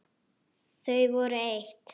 Þau voru eitt.